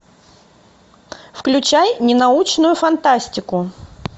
включай ненаучную фантастику